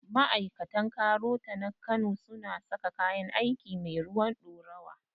Ma'aikatan KAROTA na kano su na saka kayan aiki mai ruwan ɗorawa